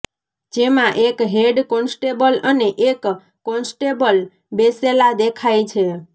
જેમાં એક head constable અને એક કોન્સ્ટેબલ બેસેલાં દેખાઈ છે